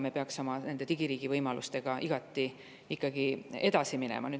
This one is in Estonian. Me peaksime oma digiriigi võimalustega ikkagi edasi minema.